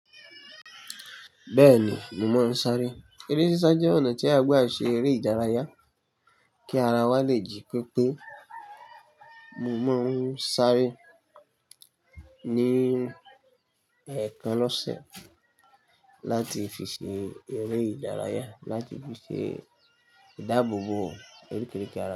Bẹ́ẹ̀ni, mo mọ̀ọ́n sáré. Eré sísá jẹ́ ọ̀nà tí a gbà ṣe eré ìdárayá kí ara wa lè jí pépé. Mo mọ̀ọ́n sáré ní ẹ̀ẹ̀kan lọ́sẹ̀ láti fi ṣe eré ìdárayá láti fi ṣe ìdáàbòbò orí kiríkirì ara.